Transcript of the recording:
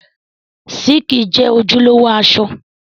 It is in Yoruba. Síìkì jẹ́ ojúlówó aṣọ